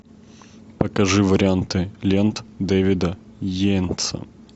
покажи варианты лент дэвида йейтса